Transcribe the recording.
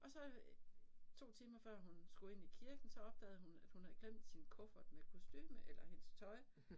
Og så øh 2 timer før hun skulle ind i kirken så opdagede hun at hun havde glemt sin kuffert med kostume eller hendes tøj